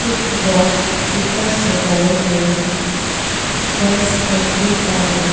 कुछ बॉक्स ऊपर सजाए गए हैं फर्श लकड़ी का है।